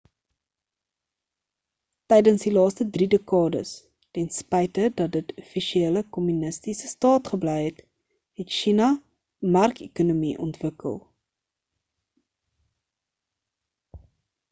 tydens die laaste drie dekades tenspyte dat dit offisieël 'n kommunistiese staat gebly het het sjina 'n markekonomie ontwikkel